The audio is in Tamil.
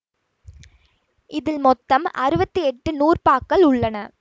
இதில் மொத்தம் அறுவத்தி எட்டு நூற்பாக்கள் உள்ளன